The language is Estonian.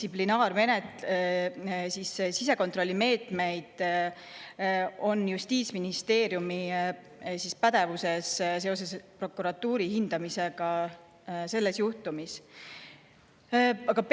Ja millised sisekontrollimeetmed on justiitsministeeriumi pädevuses seoses prokuratuuri hindamisega selles juhtumis?